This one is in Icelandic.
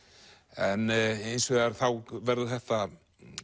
en hins vegar þá verður þetta